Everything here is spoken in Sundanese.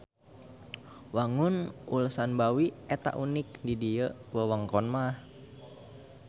Wangun Ulsanbawi eta unik di ieu wewengkon mah.